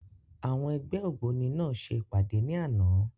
Àwọn ẹgbẹ́ ògbóni náà ṣe ìpàdé ní àná.